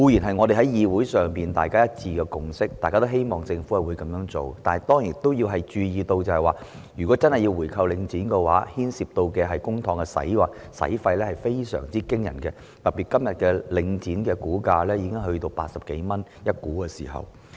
這固然是議會內大家一致的共識，大家也希望政府會這樣做，但當然要注意到，政府如果真的回購領展，所牽涉的公帑費用會是非常驚人的，特別是現時領展的股價已經達每股80多元。